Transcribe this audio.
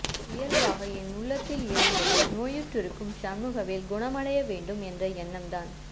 இயல்பாக என் உள்ளத்தில் எழுந்தது நோயுற்றிருக்கும் ஷண்முகவேல் குணமடையவேண்டும் என்ற எண்ணம்தான்